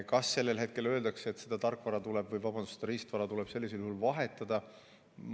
Kas sellel hetkel öeldakse, et riistvara tuleb sellisel juhul vahetada?